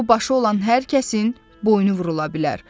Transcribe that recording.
O başı olan hər kəsin boynu vurula bilər.